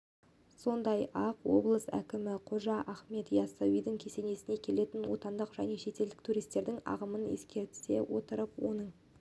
сондай-ақ облыс әкімі қожа ахмет яссауи кесенесіне келетін отандық және шетелдік туристердің ағымын ескере отырып оның